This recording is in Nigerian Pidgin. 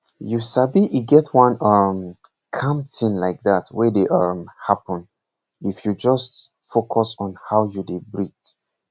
you sabi e get one um calm thing like that wey dey um happen if you just focus on how you dey breathe